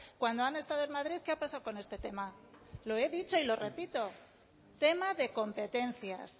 cuándo han estado en madrid qué ha pasado con este tema lo he dicho y lo repito tema de competencias